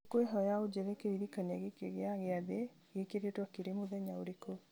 ngũkwĩhoya ũnjĩre kĩririkania gĩkĩ gĩa gĩathĩ gĩkĩrĩtwo kĩrĩ mũthenya ũrĩkũ